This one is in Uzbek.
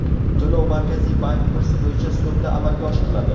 To‘lov Markaziy bank kursi bo‘yicha so‘mda amalga oshiriladi.